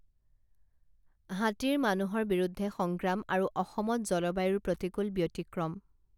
হাতীৰ মানুহৰ বিৰুদ্ধে সংগ্ৰাম আৰু অসমত জলবায়ুৰ প্ৰতিকূল ব্যতিক্ৰম